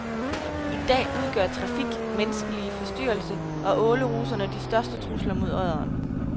I dag udgør trafik, menneskelig forstyrrelse og åleruserne de største trusler mod odderen.